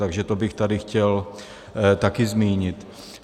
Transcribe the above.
Takže to bych tady chtěl také zmínit.